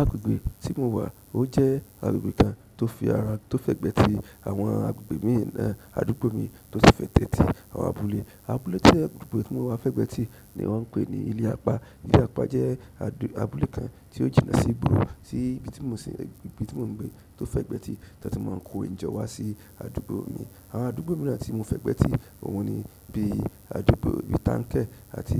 Agbègbè tí mo wà ó jẹ́ agbègbè kan tó fi ara tó fẹ̀gbẹ́ ti àwọn agbègbè míì náà. Àdúgbò mi tó ti fẹ̀gbẹ́ tì àwọn abúlé. Abúlé tí agbègbè mi wà fẹ̀gbẹ́ ti ni wọ́n ń pè ní ilé apá. Ilé apá jẹ́ adù abúlé kan tí ó jìnnà sí gbúrù sí ibi tí mo sì ibi tí mo ń gbé tó fẹ̀gbẹ́ ti tí a ti máa ń kó ìjọ wá sí àdúgbò mi. Àwọn àdúgbò mìíràn tí mo fẹ̀gbẹ́ tì òun ni bí i àdúgbò bí Tánkẹ́ àti